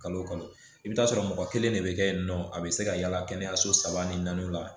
Kalo wo kalo i bi t'a sɔrɔ mɔgɔ kelen de be kɛ yen nɔ a be se ka yala kɛnɛyaso saba ni naaniw la